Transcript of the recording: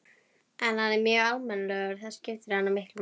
En hann er mjög almennilegur, það skiptir hana miklu máli.